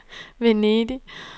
Venedig